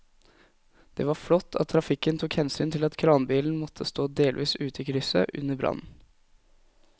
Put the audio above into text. Det var flott at trafikken tok hensyn til at kranbilen måtte stå delvis ute i krysset under brannen.